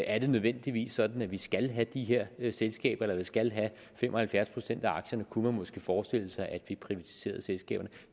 er det nødvendigvis sådan at vi skal have de her selskaber der skal have fem og halvfjerds procent af aktierne kunne man måske forestille sig at vi privatiserede selskaberne